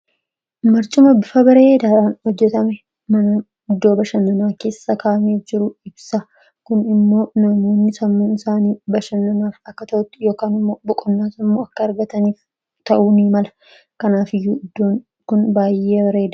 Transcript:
Barchuma bifa bareedaadhaan hojjetame mana iddoo bashannanaa keessa kamiif jiruu ibsa. kun immoo namoonni sammuu isaanii bashannanaa akka ta'utti yoo boqonnaa sammuu akka argataniif ta'uunii mala kanaaf iyyuu iddoon kun baay'ee bareeda.